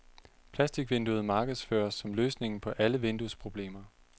Plasticvinduet markedsføres som løsningen på alle vinduesproblemer.